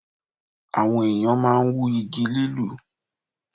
Àwọn ènìyàn máa n wú Igi lilù